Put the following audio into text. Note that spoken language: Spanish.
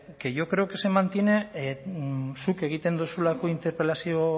que yo creo que se mantiene zuk egiten duzulako interpelazio